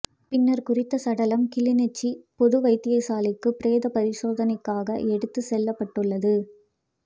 பின்னர் குறித்த சடலம் கிளிநொச்சி பொது வைத்தியசாலைக்கு பிரேத பரிசோதனைக்காக எடுத்துச் செல்லப்பட்டுள்ளது